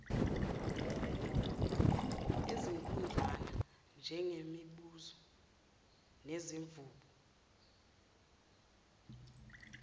ezinkudlwana njengezimbuzi nezimvu